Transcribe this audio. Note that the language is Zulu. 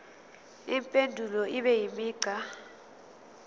impendulo ibe imigqa